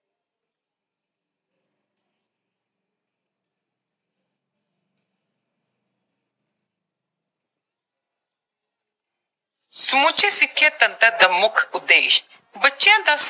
ਸਮੁੱਚੇ ਸਿੱਖਿਆ ਤੰਤਰ ਦਾ ਮੁੱਖ ਉਦੇਸ਼